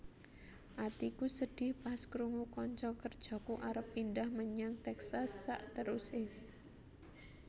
Atiku sedih pas krungu konco kerjoku arep pindah menyang Texas sakteruse